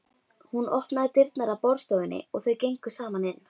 Hún opnaði dyrnar að borðstofunni og þau gengu saman inn.